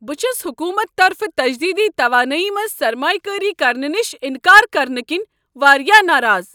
بہٕ چھس حکومتہٕ طرفہٕ تجدیدی توانایی منٛز سرمایہ کٲری کرنہٕ نش انکار کرنہٕ كِنہِ واریاہ ناراض۔